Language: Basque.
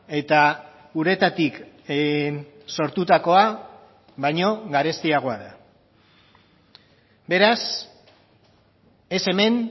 eta uretatik sortutakoa baino garestiagoa da beraz ez hemen